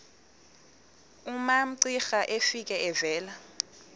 umamcira efika evela